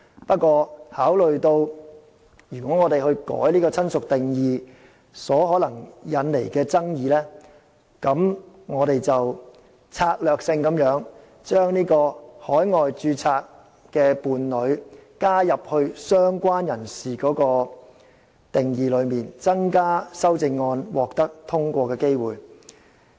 不過，考慮到修改"親屬"的定義可能引起爭議，我們策略性地把海外註冊的伴侶加入"相關人士"的定義之中，以增加修正案獲得通過的機會。